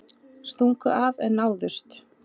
Stungu af en náðust